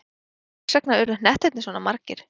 En hvers vegna urðu hnettirnir svona margir?